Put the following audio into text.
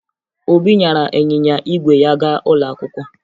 Obi nyara ịnyịnya ígwè ya gaa ụlọ akwụkwọ